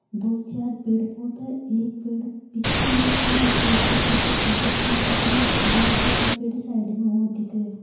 दो चार पेड़ पौधा एक पेड़ पीछे ने है बे पेड़ के पीछे सूरज भी दिख रहो है दो चार साइड में और दिख रहा है।